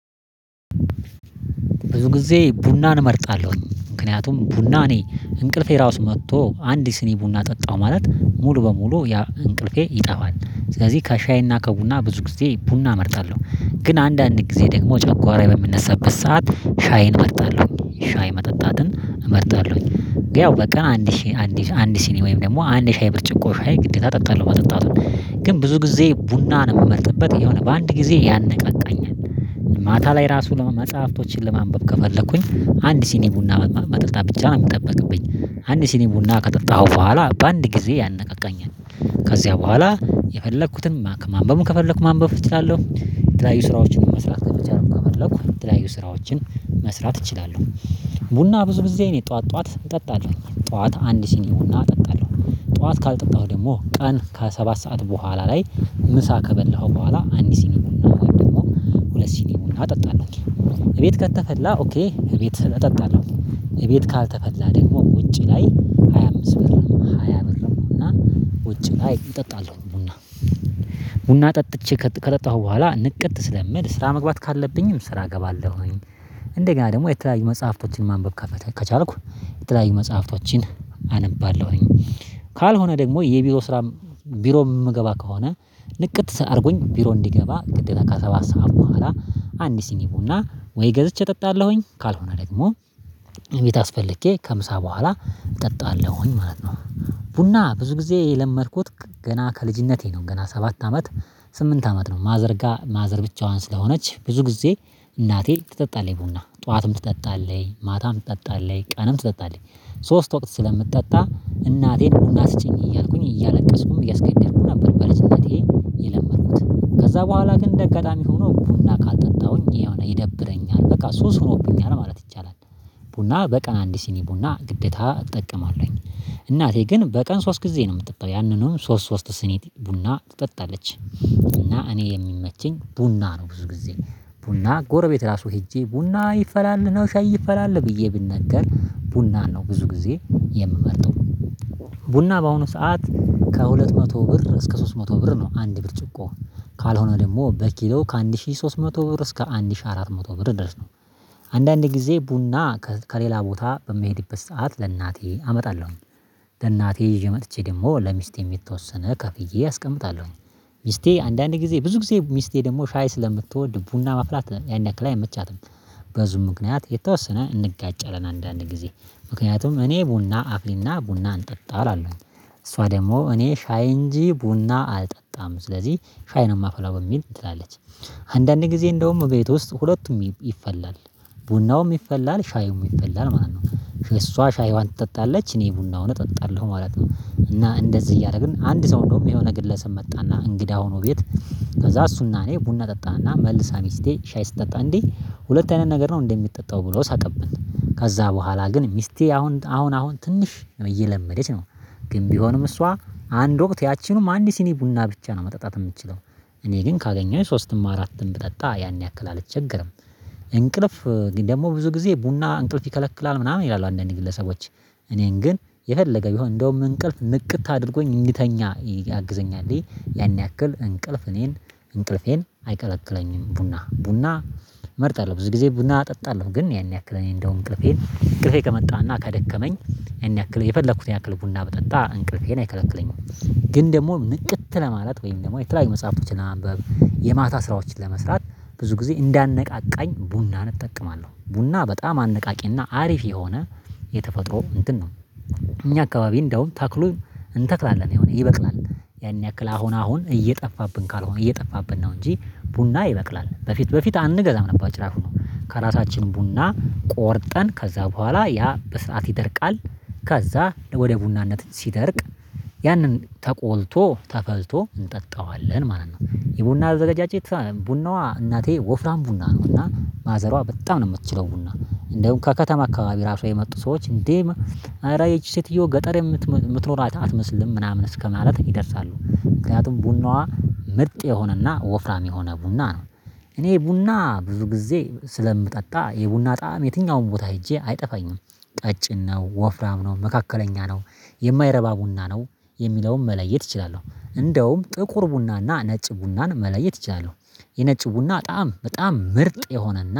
ብዙ ጊዜ ቡናን እመርጣለሁ። ምክንያቱም ቡና እኔ እንቅልፌ ራሱ መጥቶ አንድ ሲኒ ቡና ጠጣው ማለት ሙሉ በሙሉ ያ እንቅልፌ ይጠፋል። ስለዚህ ከሻይና ከቡና ብዙ ጊዜ ቡና እመርጣለሁ። ግን አንዳንድ ጊዜ ደግሞ ጨጓራዬ በሚነሳበት ሰዓት ሻይን እመርጣለሁ ሻይ መጠጣትን እመርጣለሁ። ግን ያው በቀን አንድ ሲኒ አንድ ሲኒ ወይም ደግሞ አንድ የሻይ ብርጭቆ ሻይ ግዴታ እጠጣለሁ መጠጣቱን። ግን ብዙ ጊዜ ቡናን የምመርጥበት የሆነ በአንድ ጊዜ ያነቃቃኛል ማታ ላይ ራሱ መጽሐፍቶችን ለማንበብ ከፈለኩኝ አንድ ሲኒ ቡና መጠጣት ብቻ ነው የሚጠበቅብኝ። አንድ ሲኒ ቡና ከጠጣሁ በኋላ በአንድ ጊዜ ያነቃቃኛል ከዚያ በኋላ የፈለኩትን ማንበብም ከፈለኩ ማንበብ እችላለሁ። የተለያዩ ስራዎችን መስራት ከቻልኩ ከፈለኩ የተለያዩ ስራዎችን መስራት እችላለሁ። ቡና ብዙ ጊዜ እኔ ጠዋት ጠዋት እጠጣለሁ ጠዋት አንድ ሲኒ ቡና እጠጣለሁ። ጠዋት ካልጠጣሁ ደግሞ ቀን ከሰባት ሰዓት በኋላ ላይ ምሳ ከበላሁ በኋላ አንድ ሲኒ ቡና ወይም ደግሞ ሁለት ሲኒ ቡና እጠጣለሁ። ቤት ከተፈላ ኦኬ እቤት እጠጣለሁ። እቤት ካልተፈላ ደግሞ ውጪ ላይ ሃያ አምስት ብር ሃያ ብርም ቡና ውጭ ላይ እጠጣለሁ። ቡና ቡና ጠጥቼ ከጠጣሁ በኋላ ንቅት ስለምል ስራ መግባት ካለብኝም ስራ እገባለሁኝ። እንደገና ደግሞ የተለያዩ መጽሐፍቶችን ማንበብ ከቻልኩ የተለያዩ መጽሐፍቶችን አነባለሁኝ። ካልሆነ ደግሞ የቢሮ ስራ ቢሮ የምገባ ከሆነ ንቅት አድርጎኝ ቢሮ እንድገባ ግዴታ ከሰባት ሰዓት በኋላ አንድ ሲኒ ቡና ወይ ገዝቼ እጠጣለሁኝ ካልሆነ ደግሞ እቤት አስፈልጌ ከምሳ በኋላ እጠጣለሁኝ። ማለት ነው። ቡና ብዙ ጊዜ የለመድኩት ገና ከልጅነቴ ነው ገና ሰባት አመት ስምንት አመት ነው። ማዘር ጋር ማዘር ብቻዋን ስለሆነች ብዙ ጊዜ እናቴ ትጠጣለኝ ቡና ጠዋትም ትጠጣለኝ ማታም ትጠጣለኝ ቀንም ትጠጣለኝ ሶስት ወቅት ስለምትጠጣ እናቴን ቡና ስጪኝ እያልኩኝ እያለቀስኩኝ እያስገደድኩኝ ነበር። በልጅነቴ የለመድኩት ከዛ በኋላ ግን እንደ አጋጣሚ ሆኖ ቡና ካልጠጣሁኝ የሆነ ይደብረኛል በቃ ሱስ ሆኖብኛል ማለት ይቻላል። ቡና በቀን አንድ ሲኒ ቡና ግዴታ እጠቀማለሁኝ። እናቴ ግን በቀን ሶስት ጊዜ ነው የምትጠጣው ያንንም ሶስት ሶስት ሲኒ ቡና ትጠጣለች። እና እኔ የሚመቸኝ ቡና ነው ብዙ ጊዜ ቡና ጎረቤት ራሱ ሄጄ ቡና ይፈላልህ ነው ሻይ ይፈላልህ ብዬ ብነገር ቡና ነው ብዙ ጊዜ የምመርጠው። ቡና በአሁኑ ሰዓት ከሁለት መቶ ብር እስከ ሶስት መቶ ብር ነው አንድ ብር ጭቆ ካልሆነ ደግሞ በኪሎ ከአንድ ሺህ ሶስት መቶ ብር እስከ አንድ ሺህ አራት መቶ ብር ድረስ ነው። አንዳንዴ ጊዜ ቡና ከሌላ ቦታ በምሄድበት ሰዓት ለእናቴ አመጣለሁኝ። ለእናቴ ይዤ መጥቼ ደግሞ ለሚስቴም የተወሰነ ከፍዬ አስቀምጣለሁ ሚስቴ አንዳንዴ ጊዜ ብዙ ጊዜ ሚስቴ ደግሞ ሻይ ስለምትወድ ቡና ማፍላት ያን ያክል አይመቻትም። በዚው ምክንያት የተወሰነ እንጋጨለን አንዳንድ ጊዜ ምክንያቱም እኔ ቡና አፍይ እና ቡና እንጠጣ እላለሁኝ እሷ ደግሞ እኔ ሻይ እንጂ ቡና አልጠጣም ስለዚህ ሻይ ነው የማፈላው በሚል ትላለለች። አንዳንዴ ጊዜ እንደውም ቤት ውስጥ ሁለቱም ይፈላል ቡናውም ይፈላል ሻዩም ይፈላል ማለት ነው። እሷ ሻይዋን ትጠጣለች እኔ ቡናውን እጠጣለሁ ማለት ነው። እና እንደዚህ እያደረግን አንድ ሰው እንደውም የሆነ ግለሰብ መጣና እንግዳ ሆኖ ቤት ከዛ እሱና እኔ ቡና ጠጣን እና መልሳ ሚስቴ ሻይ ስትጠጣ እንዴ ሁለት አይነት ነገር ነው እንዴ የምጠጣው ብሎ ሳቀብኝ። ከዛ በኋላ ግን ሚስቴ አሁን አሁን አሁን ትንሽ እየለመደች ነው። ግን ቢሆንም እሷ አንድ ወቅት ያቺኑም አንድ ሲኒ ቡና ብቻ ነው መጠጣት የምትችለው። እኔ ግን ካገኘሁኝ ሶስትም አራትም ብጠጣ ያን ያክል አልቸገርም እንቅልፍ ደግሞ ብዙ ጊዜ ቡና እንቅልፍ ይከለክላል ምናምን ይላሉ አንዳንድ ግለሰቦች እኔን ግን የፈለገ ቢሆን እንደውም እንቅልፍ ንቅት አድርጎኝ እንድተኛ ያግዘኛል። ያን ያክል እንቅልፍ እኔን እንቅልፌን አይከለክለኝም። ቡና ቡና እመርጣለሁ ብዙ ጊዜ ቡና እጠጣለሁ ግን ያን ያክል እኔ እንደውም እንቅልፌን እንቅልፌ ከመጣና ከደከመኝ ይሄን ያክል የፈለኩትን ያክል ቡና ብጠጣ እንቅልፌን አይከለክለኝም። ግን ደግሞ ንቅት ለማለት ወይም ደግሞ የተለያዩ መጽሐፎችን ለማንበብ የማታ ስራዎችን ለመስራት ብዙ ጊዜ እንዲያነቃቃኝ ቡናን እጠቀማለሁ። ቡና በጣም አነቃቂና አሪፍ የሆነ የተፈጥሮ እንትን ነው። እኛ አካባቢ እንደውም ተክሉ እንተክላለን ይሆናል ይበቅላል ያን ያክል አሁን አሁን እየጠፋብን ካልሆነ እየጠፋብን ነው። እንጂ ቡና ይበቅላል በፊት በፊት አንገዛም ነበር ጭራፍ ሆኖ ከራሳችን ቡና ቆርጠን ከዛ በኋላ ያ በስርዓት ይደርቃል። ከዛ ወደ ቡናነት ሲደርቅ ያንን ተቆልቶ ተፈልቶ እንጠጣዋለን ማለት ነው። የቡና አዘገጃጀት ቡናዋ እናቴ ወፍራም ቡና ነው እና ማዘሯ በጣም ነው የምትችለው ቡና እንደውም ከከተማ አካባቢ ራሷ የመጡ ሰዎች እንዴ አረ ይቺ ሴትዮ ገጠር የምትኖር አትመስልም ምናምን እስከማለት ይደርሳሉ። ምክንያቱም ቡናዋ ምርጥ የሆነና ወፍራም የሆነ ቡና ነው። እኔ ቡና ብዙ ጊዜ ስለምጠጣ የቡና ጣዕም የትኛውም ቦታ ሄጄ አይጠፋኝም። ቀጭን ነው ወፍራም ነው መካከለኛ ነው። የማይረባ ቡና ነው። የሚለውን መለየት እችላለሁ። እንደውም ጥቁር ቡናና ነጭ ቡናን መለየት ይቻላል። የነጭ ቡና ጣዕም በጣም ምርጥ የሆነና